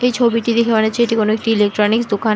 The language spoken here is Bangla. ছবিটি দেখে মনে হচ্ছে এটি কোনো একটি ইলেকট্রনিক্স দোকান।